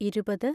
ഇരുപത്